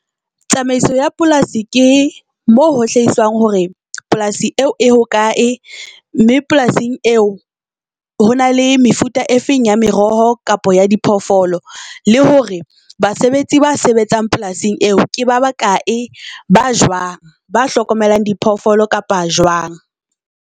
Tsamaiso ya polasi ke mo ho hlahiswang hore polasi eo e hokae, mme polasing eo ho na le mefuta e feng ya meroho kapa ya diphoofolo. Le hore basebetsi ba sebetsang polasing eo ke ba bakae ba jwang ba hlokomelang diphoofolo kapa jwang.